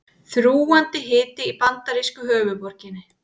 Þrúgandi hiti í bandarísku höfuðborginni